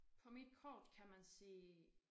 På mit kort kan man se